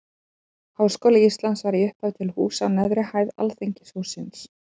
Háskóli Íslands var í upphafi til húsa á neðri hæð Alþingishússins.